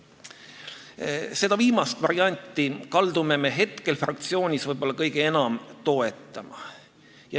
Seda viimast varianti kaldume me hetkel fraktsioonis võib-olla kõige enam toetama.